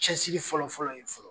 Cɛsiri fɔlɔfɔlɔ ye fɔlɔ.